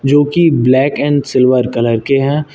जोकि black and silver colour के हैं।